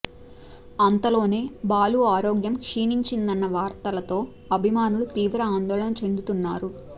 అంతలోనే బాలు ఆరోగ్యం క్షీణించిందన్న వార్తలతో అభిమానులు తీవ్ర ఆందోళన చెందుతున్నారు